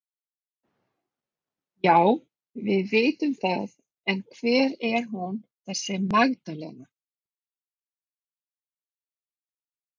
Já, við vitum það en hver er hún þessi Magdalena?